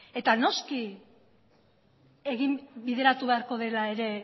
eta noski bideratu beharko dela ere